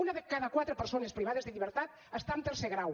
una de cada quatre persones privades de llibertat està en tercer grau